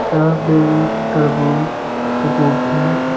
यहां पे तरबूज गोभी--